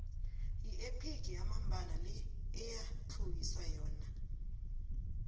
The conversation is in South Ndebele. yiephigi yamambala le iyathluwisa yona